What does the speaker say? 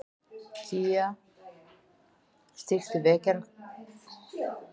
Kaía, stilltu niðurteljara á sextíu og átta mínútur.